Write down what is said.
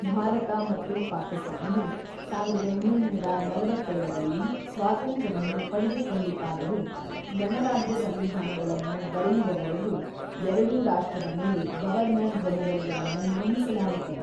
ಭಾರತ ಮತ್ತು ಪಾಕಿಸ್ತಾನವು ಸಾವಿರದ ಒಂಬೈನೂರ ನಲವತ್ತೇಳರಲ್ಲಿ ಸ್ವಾತಂತ್ರ್ಯವನ್ನು ಪಡೆದುಕೊಂಡಿತಾದರೂ, ಗಣರಾಜ್ಯ ಸಂವಿಧಾನಗಳನ್ನು ಬರೆಯುವವರೆಗೂ ಎರಡೂ ರಾಷ್ಟ್ರದ ಮೇಲೆ ಗವರ್ನರ್-ಜನರಲ್‌ಗಳನ್ನು ನೇಮಿಸಲಾಯಿತು.